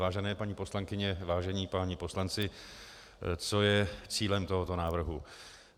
Vážené paní poslankyně, vážení páni poslanci, co je cílem tohoto návrhu?